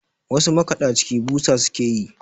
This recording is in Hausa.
wasu makaɗaciki busa suke yi